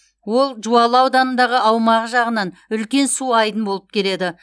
ол жуалы ауданындағы аумағы жағынан үлкен су айдын болып келеді